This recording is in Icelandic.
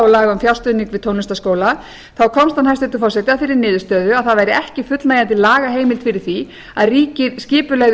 laga um fjárstuðning við tónlistarskóla þá komst hann hæstvirtur forseti að þeirri niðurstöðu að það væri ekki fullnægjandi lagaheimild fyrir því að ríkið skipulegði